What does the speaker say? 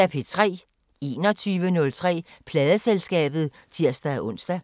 21:03: Pladeselskabet (tir-ons)